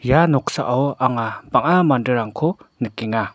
ia noksao anga bang·a manderangko nikenga.